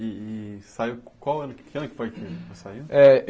E e e saiu... Qual ano que ano que foi que você saiu? Eh